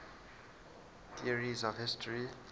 theories of history